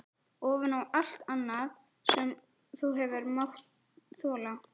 Ofan á allt annað sem þú hefur mátt þola?